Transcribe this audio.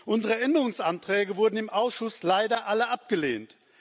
Unsere Änderungsanträge wurden im Ausschuss leider alle abgelehnt.